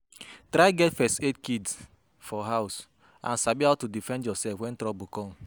Try get first aid kit for house and sabi how to defend yourself when trouble come